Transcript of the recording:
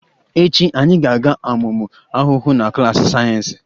Echi, anyị ga-amụ ụmụ ahụhụ na klas sayensị